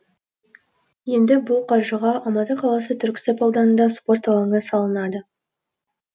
енді бұл қаржыға алматы қаласы түрксіб ауданында спорт алаңы салынады